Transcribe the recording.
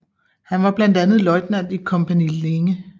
Han var blandt andet løjtnant i Kompani Linge